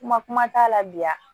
Kuma kuma t'a la biya